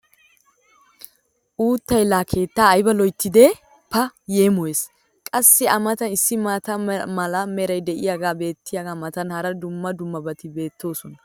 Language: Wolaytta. uuttay laa keettaa ayba loyttidee! Pa yeemoyees! Qassi a matan issi maata mala meray diyaagee beetiyaagaa matan hara dumma dummabati beetoosona .